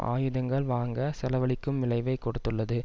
ஆயுதங்கள் வாங்க செலவழிக்கும் விளைவைக் கொடுத்துள்ளது